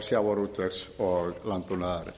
sjávarútvegs og landbúnaðarnefndar